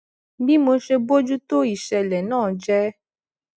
bí mo ṣe bójú tó isele náà jé